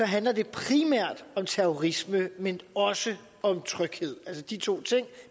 handler det primært om terrorisme men også om tryghed det de to ting